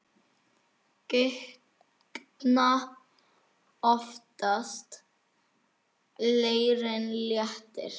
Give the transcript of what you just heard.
Gigtina oftast leirinn léttir.